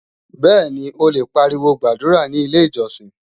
Bẹ́ẹ̀ni, o lè pariwo gbàdúrà ní Ilé-ìjọsìn